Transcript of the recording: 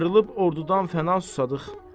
Ayrılıb ordudan fəna susadıq.